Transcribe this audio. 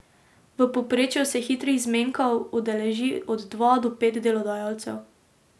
V povprečju se hitrih zmenkov udeleži od dva do pet delodajalcev.